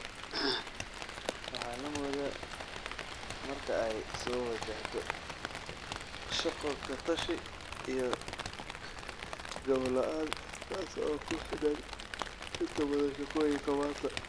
Waxa la moodaa marka ay soo wajahdo shaqo-ka-tashi iyo gabbo-la’aan taas oo ku xidhan inta badan shaqooyinka maanta.